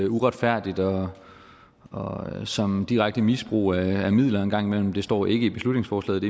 uretfærdigt og og som direkte misbrug af midlerne en gang imellem det står ikke i beslutningsforslaget